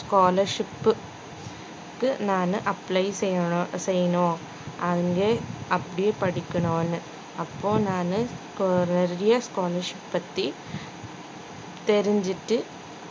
scholarship உ க்கு நானு apply செய்ய~ செய்யணும் அங்கயே அப்படியே படிக்கனுன்னு அப்போ நானு college பத்தி தெரிஞ்சிட்டு